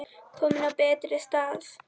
Komin á betri stað.